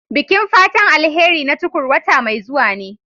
Bikin fatan alheri na Tukur wata mai zuwa ne.